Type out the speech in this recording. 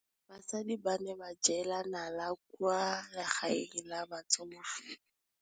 Basadi ba ne ba jela nala kwaa legaeng la batsofe.